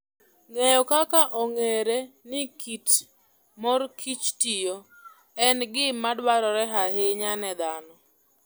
Ng'eyo kaka ong'ere ni kit mor kich tiyo, en gima dwarore ahinya ne dhano.